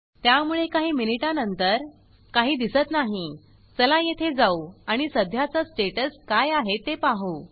त्यामुळे काही मिनिटांन नंतर काही दिसत नाही चला येथे जाऊ आणि सध्याचा स्टेटस काय आहे ते पाहु